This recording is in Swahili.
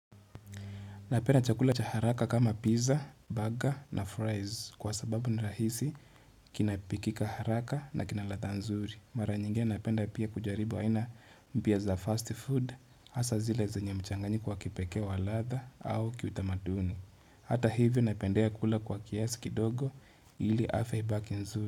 Napenda chakula cha haraka kama pizza, burger na fries kwa sababu ni rahisi kinapikika haraka na kinaladha nzuri. Mara nyinge napenda pia kujaribu aina mpya za fast food hasa zile zenye mchanganyiko k wa kipeke walatha au kiutamaduni. Hata hivyo napendea kula kwa kiasi kidogo ili afia ibaki nzuri.